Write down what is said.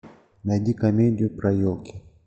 найди комедию про елки